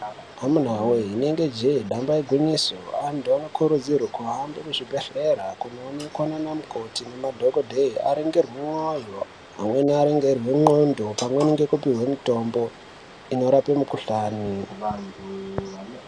Akomana wee rinenge jee damba igwinyiso antu akurudzirwi kuhambe kuzvibhedhlera kunoonekwa namukoti nemadhokodheya aningirwe mwoyo amweni aningirwe ndlondo amweni apihwe mutombo unorape mukudhlani .